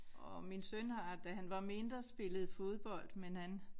Og min søn har da han var mindre spillet fodbold men han